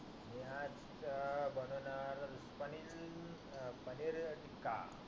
मी आज अं बणवणार पनील अं पनीर टिक्का